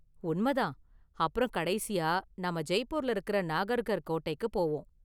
உண்மைதான். அப்பறம் கடைசியா நாம ஜெய்ப்பூர்ல இருக்கற நாகர்கர் கோட்டைக்கு போவோம்.